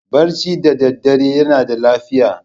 Barci da daddare yana da lafiya.